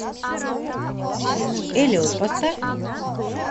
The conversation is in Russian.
эллиот поставь